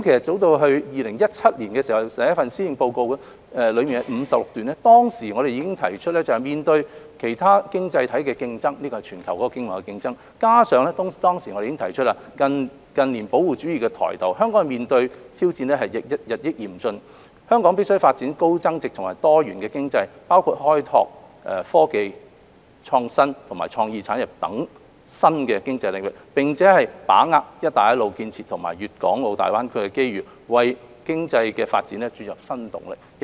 早於2017年，首份施政報告中第56段已經提到，面對其他經濟體的競爭——這是全球的經貿競爭——加上當時已提出近年保護主義抬頭，香港面對的挑戰日益嚴峻，必須發展高增值及多元經濟，包括開拓科技、創新及創意產業等新的經濟領域，並把握"一帶一路"建設和粵港澳大灣區的機遇，為經濟發展注入新動力。